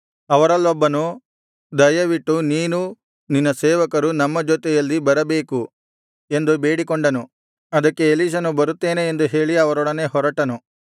ಅವರಲ್ಲೊಬ್ಬನು ದಯವಿಟ್ಟು ನೀನೂ ನಿನ್ನ ಸೇವಕರು ನಮ್ಮ ಜೊತೆಯಲ್ಲಿ ಬರಬೇಕು ಎಂದು ಬೇಡಿಕೊಂಡನು ಅದಕ್ಕೆ ಎಲೀಷನು ಬರುತ್ತೇನೆ ಎಂದು ಹೇಳಿ ಅವರೊಡನೆ ಹೊರಟನು